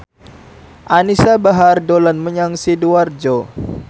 Anisa Bahar dolan menyang Sidoarjo